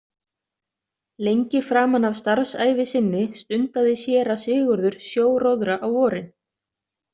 Lengi framan af starfsævi sinni stundaði séra Sigurður sjóróðra á vorin.